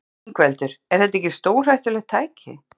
Ingveldur: Er þetta ekki stórhættulegt tæki?